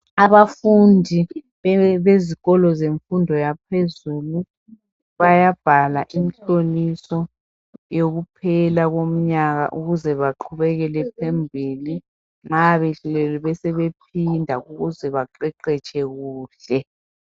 Abafundi bezikolo zemfundo yaphezulu bayabhala imhloliso yokuphela komnyaka ukuze baqhubekele phambili nxa behlulekile besebephinda ukuze baqeqetshe kuhle.